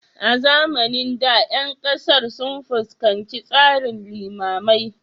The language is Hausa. A zamanin da, ƴan ƙasar sun fuskanci tsarin limamai